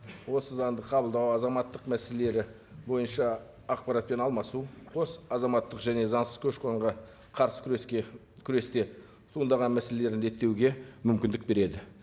осы заңды қыбылдау азаматтық мәселелері бойынша ақпаратпен алмасу қос азаматтық және заңсыз көші қонға қарсы күреске күресте туындаған мәселелерін реттеуге мүмкіндік береді